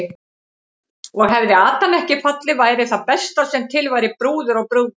Og hefði Adam ekki fallið væri það besta sem til væri, brúður og brúðgumi.